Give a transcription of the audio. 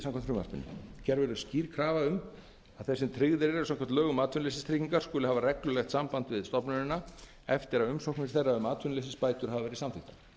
frumvarpinu gerð verður skýr krafa um að þeir sem tryggðir eru samkvæmt lögum um atvinnuleysistryggingar skuli hafa reglulegt samband við stofnunina eftir að umsóknir þeirra um atvinnuleysisbætur hafa verið samþykktar þeim